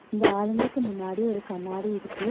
இந்த ஆளுங்களுக்கு முன்னாடி ஒரு கண்ணாடி இருக்கு.